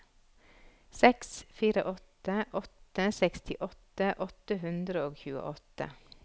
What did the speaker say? seks fire åtte åtte sekstiåtte åtte hundre og tjueåtte